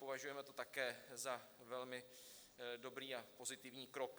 Považujeme to také za velmi dobrý a pozitivní krok.